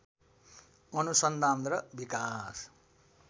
अनुसन्धान र विकास